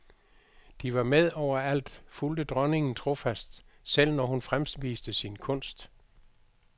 De var med overalt, fulgte dronningen trofast, selv når hun fremviste sin kunst.